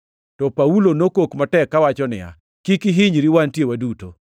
To Paulo nokok matek kawacho niya, “Kik ihinyri! Wantie waduto!”